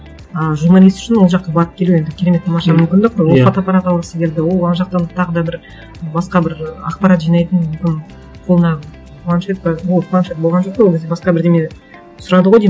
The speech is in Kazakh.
ы журналист үшін ол жаққа барып келу енді керемет тамаша мүмкіндік қой ол фотоаппарат алғысы келді ол ана жақтан тағы да бір басқа бір ақпарат жинайтын ы қолына планшет ба ол планшет болған жоқ қой ол кезде басқа бірдеңе сұрады ғой деймін